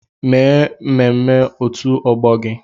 Mee ememme òtù ọgbọ gị!